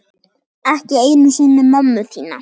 Ekki einu sinni mömmu þína.